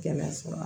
Gɛlɛya sɔrɔ